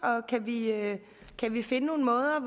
kan vi finde nogle måder